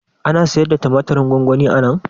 Ana sayarda tumatirin gwangwani anan?